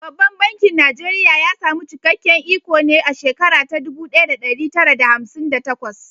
Babban bankin Najeriya ya samu cikakken iko ne a shekara ta dubu ɗaya da ɗari tara da hamsin da takwas.